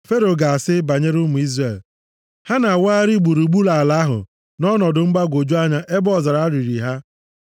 Fero ga-asị banyere ụmụ Izrel, ‘Ha na-awagharị gburugburu ala ahụ nʼọnọdụ mgbagwoju anya ebe ọzara riri ha.’